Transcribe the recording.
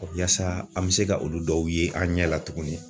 Yaasa an bi se ka olu dɔw ye an ɲɛ la tuguni